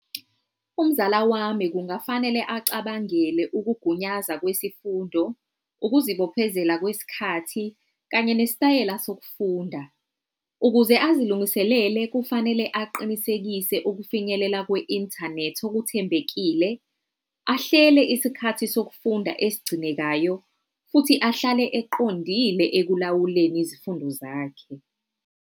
Umzala wami kungafanele acabangele ukugunyaza kwesifundo, ukuzibophezela kwesikhathi kanye nesitayela sokufunda. Ukuze azilungiselele kufanele aqinisekise ukufinyelela kwe-internet okuthembekile, ahlele isikhathi sokufunda esigcinekayo, futhi ahlale eqondile ekulawuleni izifundo zakhe.